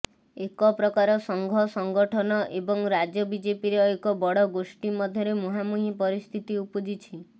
ଏକ ପ୍ରକାର ସଂଘ ସଙ୍ଗଠନ ଏବଂ ରାଜ୍ୟ ବିଜେପିର ଏକ ବଡ଼ ଗୋଷ୍ଠି ମଧ୍ୟରେ ମୁହାଁମୁହିଁ ପରିସ୍ଥିତି ଉପୁଜିଛି